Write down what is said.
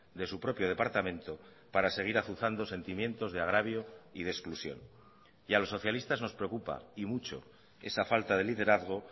de su propio departamento para seguir azuzando sentimientos de agravio y de exclusión y a los socialistas nos preocupa y mucho esa falta de liderazgo